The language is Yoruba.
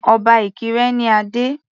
Obá Ìkirè ní adé.